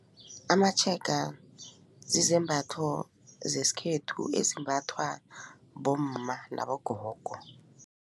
Amatshega zizembatho zesikhethu ezimbathwa bomma nabogogo.